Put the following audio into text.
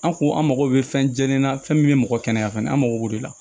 An ko an mako bɛ fɛn jɛlen na fɛn min bɛ mɔgɔ kɛnɛya fɛnɛ an mako b'o la